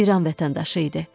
İran vətəndaşı idi.